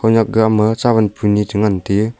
nyakga ma cha ban buni che ngan te.